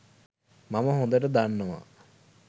මම හොඳට දන්නවා